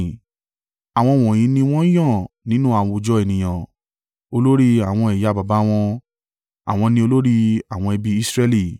Àwọn wọ̀nyí ni wọ́n yàn nínú àwùjọ ènìyàn, olórí àwọn ẹ̀yà baba wọn. Àwọn ni olórí àwọn ẹbí Israẹli.